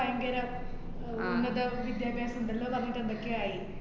ഭയങ്കര ആഹ് ഉന്നത വിദ്യാഭാസം എന്താല്ലോ പറഞ്ഞിട്ട് എന്തൊക്കെയോ ആയി